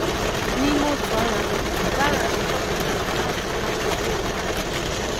N’ime otu ọnwa, Bahram chọpụtara na ọ chọtawo eziokwu ahụ.